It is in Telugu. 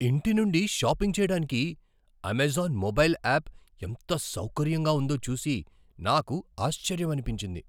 ఇంటి నుండి షాపింగ్ చేయడానికి అమెజాన్ మొబైల్ యాప్ ఎంత సౌకర్యంగా ఉందో చూసి నాకు ఆశ్చర్యమనిపించింది.